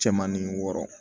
Cɛmanin wɔɔrɔ